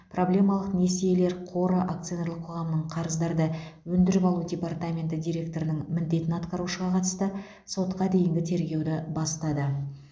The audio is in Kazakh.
проблемалық несиелер қоры акционерлік қоғамының қарыздарды өндіріп алу департаменті директорының міндетін атқарушыға қатысты сотқа дейінгі тергеуді бастады